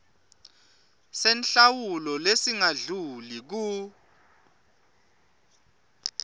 senhlawulo lesingadluli kur